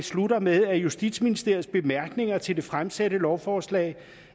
slutter med at justitsministeriets bemærkninger til det fremsatte lovforslag